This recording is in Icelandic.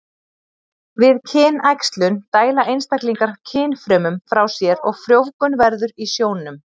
Við kynæxlun dæla einstaklingar kynfrumum frá sér og frjóvgun verður í sjónum.